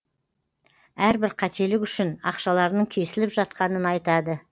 әрбір қателік үшін ақшаларының кесіліп жатқанын айтады